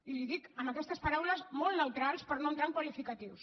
i li ho dic amb aquestes paraules molt neutrals per no entrar en qualificatius